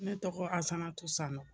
Ne tɔgɔ asatu sanogo